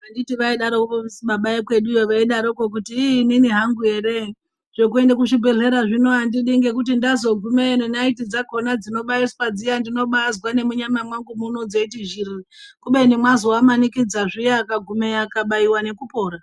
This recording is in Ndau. Anditi vaidarovi su baba vekweduwo kutii iii inini hangu ere zvekuende kuzvibhedhlera zvino andidi ngekuti ndazogumeyo nenaiti dzakhona dzinobaiswa dziya ndinombazwa nemuntama mwangu zveiti zhirii kubeni mwazovamanikidza zviya akagumeyo akabaiwa nekupora.